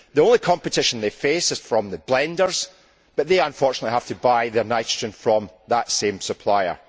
The only competition they face is from the blenders, but they unfortunately have to buy their nitrogen from that same supplier.